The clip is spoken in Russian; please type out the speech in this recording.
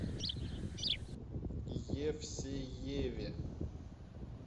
евсееве